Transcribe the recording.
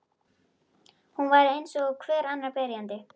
Hún var eins og hver annar byrjandi.